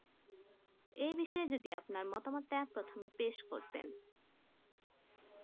এই বিষয়ে যদি আপনার মতামত তা প্রথমে পেশ করতেন